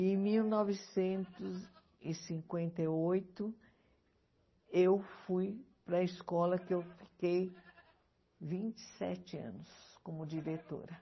Em mil novecentos e cinquenta e oito, eu fui para a escola que eu fiquei vinte e sete anos como diretora.